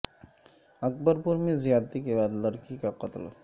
اکبر پور میں زیادتی کے بعد لڑکی کا قتل